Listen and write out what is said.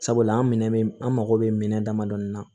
Sabula an minɛ bɛ an mago bɛ minɛn damadɔ na